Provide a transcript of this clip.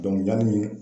yanni